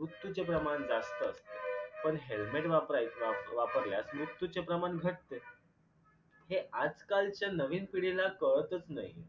मृत्यूचे प्रमाण जास्त असते पण helmet वापराय वापरल्यास मृत्यूचे प्रमाण घटते हे आजकालच्या नवीन पिढीला कळतच नाही